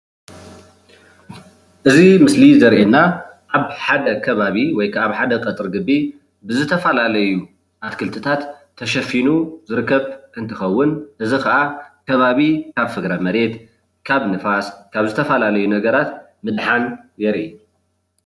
እዚ ምስሊ ዘርእየና ኣብ ሓደ ከባቢ ወይ ከዓ ኣብ ሓደ ቀፅሪ ግቢ ብዝተፈላለዩ ኣትክልትታት ተሸፊኑ ዝርከብ እንትከውን እዚ ከዓ ከባቢ ካብ ፍግረመሬት ካብ ንፋስ ካብ ዝተፈላለዩ ነገራት ምድሓን የርኢ፡፡